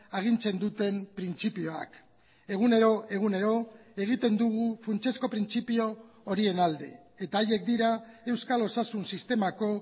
agintzen duten printzipioak egunero egunero egiten dugu funtsezko printzipio horien alde eta haiek dira euskal osasun sistemako